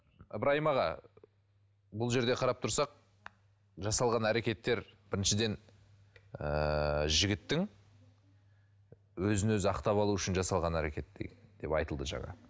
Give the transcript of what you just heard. ыбырайым аға бұл жерде қарап тұрсақ жасалған әрекеттер біріншіден ыыы жігіттің өзін өзі ақтап алу үшін жасалған әрекет деп айтылды жаңа